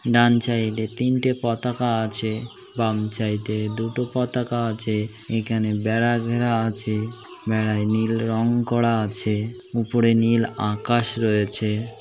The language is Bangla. ডান সাইড এ তিনটে পতাকা আছে। বাম সাইড এ দুটো পতাকা আছে। এখানে বেড়া ঘেরা আছে। বেড়ায় নীল রং করা আছ। উপরে নীল আকাশ রয়েছে ।